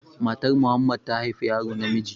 Matar Muhammad ta haifi yaro namiji